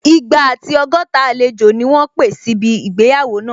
Igba àti ọgọ́ta àlejò ni wọ́n pé síbi ìgbéyàwó náà